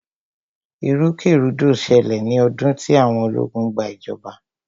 ìrúkèrudo ṣẹlẹ̀ ní ọdún tí àwọn ológun gba ìjọba.